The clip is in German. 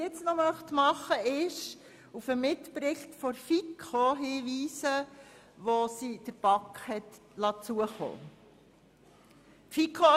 Nun möchte ich noch auf den Mitbericht der FiKo hinweisen, welchen diese der BaK hat zukommen lassen.